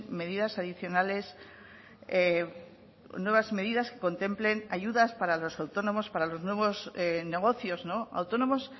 medidas adicionales nuevas medidas que contemplen ayudas para los autónomos para los nuevos negocios autónomos